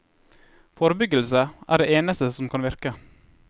Forebyggelse er det eneste som kan virke.